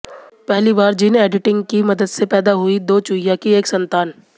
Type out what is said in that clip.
पहली बार gene editing की मदद से पैदा हुई दो चुहिया की एक संतान